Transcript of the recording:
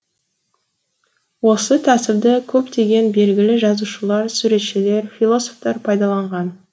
осы тәсілді көптеген белгілі жазушылар суретшілер философтар пайдаланған